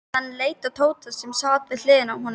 Hann leit á Tóta sem sat við hliðina á honum.